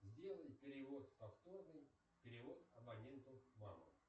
сделай перевод повторный перевод абоненту мама